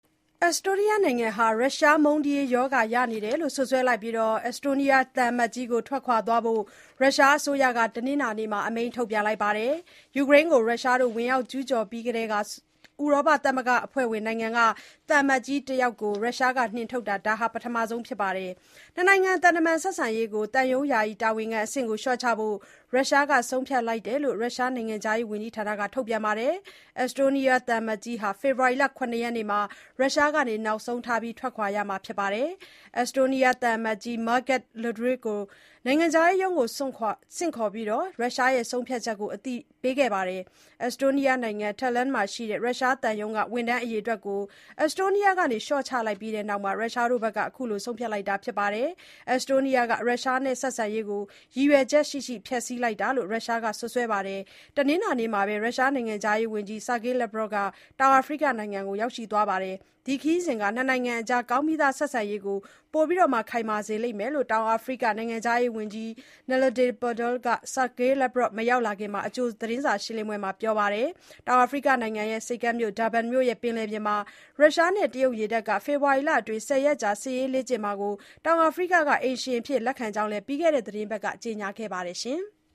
အက်စတိုးနီးယားနိုင်ငံဟာ ရုရှားမုန်းတီးရေး ရောဂါရနေတယ်လို့ စွပ်စွဲလိုက်ပြီး၊ အက်စတိုးနီးယားသံအမတ်ကြီးကို ထွက်သွားဖို့ ရုရှားအစိုးရက တနင်္လာနေ့မှာ အမိန့်ထုတ်လိုက်ပါတယ်။ ယူကရိန်းကို ဝင်ရောက်ကျူးကျော်ပြီးကတည်းက ဥရောပသမဂ္ဂအဖွဲ့ဝင် နိုင်ငံက သံအမတ်ကြီးတစ်ယောက်ကို ရုရှားက နှင်ထုတ်တာ ဒါဟာ ပထမဆုံး အကြိမ် ဖြစ်ပါတယ်။ နှစ်နိုင်ငံ သံတမန် ဆက်ဆံရေးကို သံရုံး ယာယီတာဝန်ခံအဆင့်ကို လျှော့ချဖို့ ရုရှားဘက်က ဆုံးဖြတ်လိုက်တယ်လို့ ရုရှား နိုင်ငံခြားရေး ဝန်ကြီးဌာနရဲ့ ထုတ်ပြန်ချက်က ဆိုပါတယ်။ အက်စတိုးနီးယားသံအမတ်ကြီးဟာ ဖေဖော်ဝါရီလ ၇ ရက်နေ့မှာ နောက်ဆုံးထား ထွက်ရမှာ ဖြစ်တယ်လို့ ရုရှား နိုင်ငံခြားရေး ဝန်ကြီးဌာနက ပြောပါတယ်။ အက်စတိုးနီးယား သံအမတ်ကြီး Margus Laidre ကို နိုင်ငံခြားရေးရုံးကို ဆင့်ခေါ်ပြီး ရုရှားရဲ့ ဆုံးဖြတ်ချက်ကို အသိပေးခဲ့တယ်လို့ ထုတ်ပြန်ချက်ထဲမှာ ဆိုပါတယ်။ အက်စ်တိုးနီးယား မြို့တော် တာလန် (Tallinn) မှာရှိတဲ့ ရုရှား သံရုံးက ဝန်ထမ်းအရေအတွက်ကို အက်တိုးနီးယားက လျှော့ချလိုက်ပြီးတဲ့နောက် ရုရှားဘက်က အခုလို ဆုံးဖြတ်လိုက်တာ ဖြစ်ပါတယ်။ အက်စ်တိုးနီးယားဟာ ရုရှားနဲ့ ဆက်ဆံရေးကို ရည်ရွယ်ချက်ရှိရှိ ဖျက်ဆီးလိုက်တာ ဖြစ်တယ်လို့ ရုရှားက စွပ်စွဲလိုက်ပါတယ်။ တနင်္လာနေ့မှာပဲ ရုရှားနိုင်ငံခြားရေးဝန်ကြီး ဆာဂေးလက်ဗရော့ဗ် (Sergei Lavrov) ဟာ တောင်အာဖရိက နိုင်ငံကို ရောက်ရှိသွားပါတယ်။ ဒီ ခရီးစဉ်ဟာ နှစ်နိုင်ငံအကြား ကောင်းပြီးသား ဆက်ဆံရေးကို ပိုခိုင်မာစေလိမ့်မယ်လို့ တောင်အာဖရိက နိုင်ငံခြားရေးဝန်ကြီး နလေဒီ ပန်ဒေါ (Naledi Pandor) က ဆာဂေးလက်ဗရော့ဗ် ရောက်မလာမီ အကြိုသတင်းစာရှင်းလင်းပွဲမှာ ပြောပါတယ်။ တောင်အာဖရိကနိုင်ငံ ဆိပ်ကမ်းမြို့ ဒါဘန် (Durban) မြို့ ရဲ့ ပင်လယ်ပြင်မှာ ရုရှားနဲ့ တရုတ် ရေတပ်က ဖေဖော်ဝါရီလအတွင်း ဆယ်ရက်ကြာ စစ်ရေးလေ့ကျင့်ကြမှာကို တောင်အာဖရိက က အိမ်ရှင် အဖြစ်လက်ခံလိုက်ကြောင်း ပြီးခဲ့တဲ့ အပတ်က ကြေညာခဲ့ပါတယ်။